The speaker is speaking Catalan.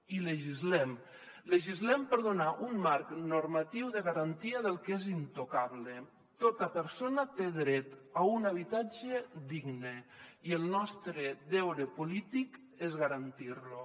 i legislem legislem per donar un marc normatiu de garantia del que és intocable tota persona té dret a un habitatge digne i el nostre deure polític és garantir lo